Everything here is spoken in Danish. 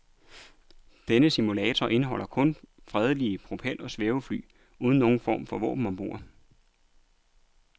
Denne simulator indeholder kun fredelige propel- og svævefly uden nogen form for våben ombord.